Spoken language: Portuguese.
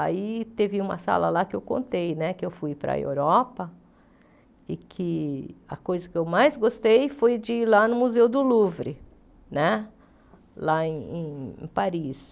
Aí teve uma sala lá que eu contei né, que eu fui para a Europa, e que a coisa que eu mais gostei foi de ir lá no Museu do Louvre né, lá em em Paris.